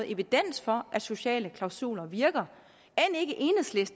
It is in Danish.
evidens for at sociale klausuler virker